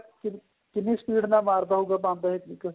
ਕਿੰਨੀ speed ਨਾਲ ਮਾਰਦਾ ਹੋਊਗਾ pump ਇਹ ਇੱਕ